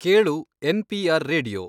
ಕೇಳು N. P. R. Radio